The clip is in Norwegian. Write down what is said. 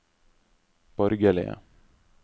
borgerlige